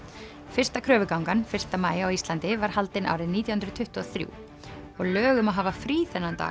fyrsta kröfugangan fyrsta maí á Íslandi var haldin árið nítján hundruð tuttugu og þrjú og lög um að hafa frí þennan dag